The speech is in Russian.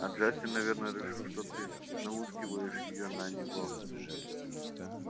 а джастин наверное решил что ты науськиваешь её на него